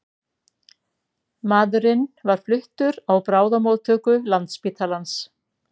Maðurinn var fluttur á bráðamóttöku Landspítalans